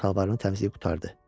Şalvarını təmizləyib qurtardı.